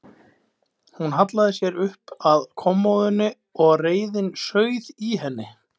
Hún hallaði sér upp að kommóðunni og reiðin sauð í henni.